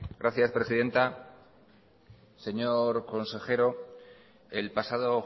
gracias presidenta señor consejero el pasado